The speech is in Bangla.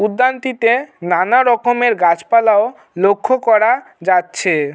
উদ্যানটিতে নানা রকমের গাছ পালাও লক্ষ্য করা যাচ্ছে।